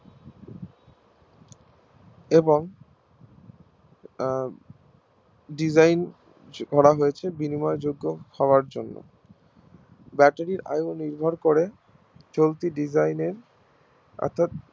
এবং উম Design করা হয়েছে বিনিময়যোগ্য হওয়ার জন্য ব্যাটারির আয়ু নিরভর করে চলতি Design এর অর্থাৎ